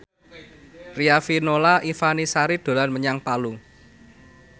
Riafinola Ifani Sari dolan menyang Palu